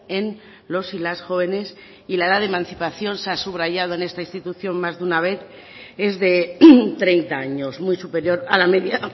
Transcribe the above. en los y las jóvenes y la edad de emancipación se ha subrayado en esta institución más de una vez es de treinta años muy superior a la media